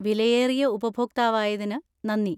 വിലയേറിയ ഉപഭോക്താവായതിന് നന്ദി.